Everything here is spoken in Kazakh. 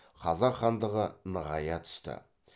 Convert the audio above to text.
қазақ хандығы нығайа түсті